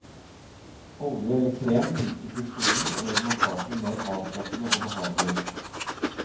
Olje eller krem minsker friksjonen og gjør massasjen mer avslappende og behagelig.